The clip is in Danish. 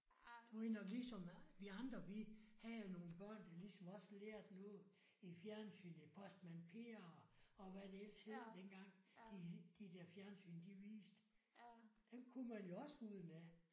Du ved nok ligesom vi andre vi havde jo nogle børn der ligesom også lærte noget i fjernsynet. Postmand Per og og hvad det ellers hed dengang de de der fjernsyn de viste. Dem kunne man jo også udenad